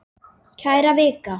Kæra Vika!